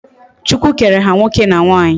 Chukwu kere ha nwoke na nwanyi